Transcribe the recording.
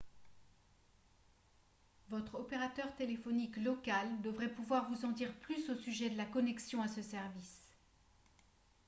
votre opérateur téléphonique local devrait pouvoir vous en dire plus au sujet de la connexion à ce service